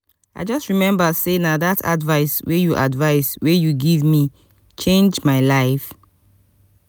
i just rememba sey na dat advice wey you advice wey you give me change my life.